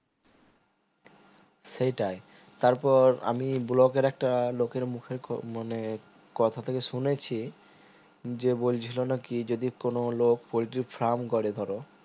সেইটায় তারপর আমি block এর একটা লোকের মুখে মানে কথা থেকে শুনেছি যে বলছিলো নাকি যদি কোনো লোক পোল্টির farm করে ধরো